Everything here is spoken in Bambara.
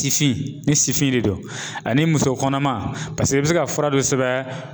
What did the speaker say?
Tifin ni sifin de don ani muso kɔnɔma paseke i bi se ka fura dɔ sɛbɛn